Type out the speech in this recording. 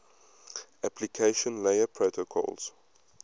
application layer protocols